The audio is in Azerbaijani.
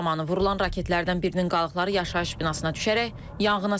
Hücum zamanı vurulan raketlərdən birinin qalıqları yaşayış binasına düşərək yanğına səbəb olub.